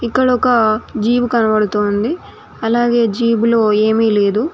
ఇక్కడ ఒక జీబు కనబడుతూ ఉంది అలాగే జీబు లో ఏమీ లేదు.